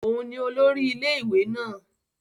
Òun nì olórí ilé-ìwé náà